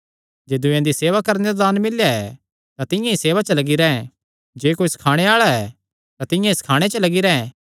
जे दूयेयां दी सेवा करणे दा दान मिल्लेया ऐ तां तिंआं ई सेवा च लग्गी रैंह् जे कोई सखाणे आल़ा ऐ तां तिंआं ई सखाणे च लग्गी रैंह्